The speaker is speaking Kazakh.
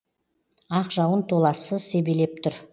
ақ жауын толассыз себелеп тұр